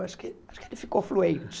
Acho que ele acho que ele ficou fluente.